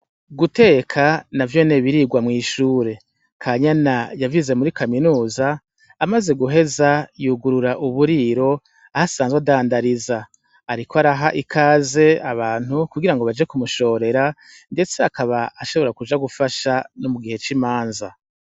Guteka navyonyene birigwa mw'ishure, kanyana yavyize muri kaminuza amaze guheza yugurura uburiro aho asanzwe adandariza, ariko araha ikaze abantu kugira ngo baje kumushorera, ndetse akaba ashobora kuja gufasha nomugihe c'imanza.